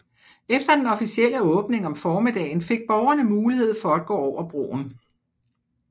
Efter den officielle åbning om formiddagen fik borgerne mulighed for at gå over broen